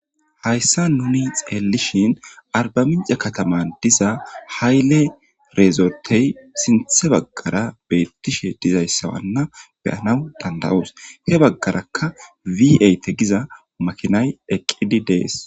hayssa nuni xeellishin arbaminca kataman diza hayle reezortey sinthe baggara beettishe dizayssawanna beyanaw danda7oos he baggarakka wieyte giza makinay eqqidi dees